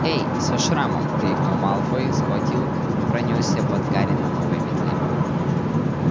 эй со шрамом крикнул малфой и схватил пронёсся под гарри на новой метле